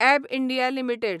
एब India limited